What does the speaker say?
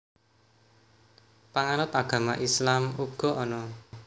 Panganut agama Islam uga ana